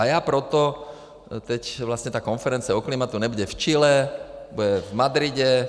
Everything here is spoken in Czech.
A já proto - teď vlastně ta konference o klimatu nebude v Chile, bude v Madridu.